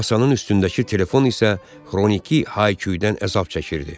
Masanın üstündəki telefon isə xroniki hay-küydən əzab çəkirdi.